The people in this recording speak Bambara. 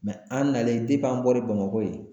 an nalen an bɔlen Bamakɔ yen